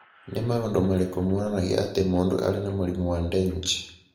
Nĩ maũndũ marĩkũ monanagia atĩ mũndũ arĩ na mũrimũ wa Dengue?